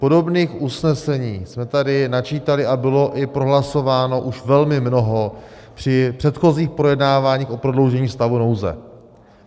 Podobných usnesení jsme tady načítali a bylo i prohlasováno už velmi mnoho při předchozích projednáváních o prodloužení stavu nouze.